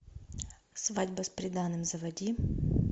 свадьба с приданным заводи